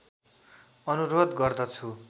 अनुरोध गर्दछु